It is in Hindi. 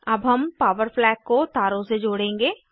अब हम पॉवर फ्लैग को तारों से जोड़ेंगे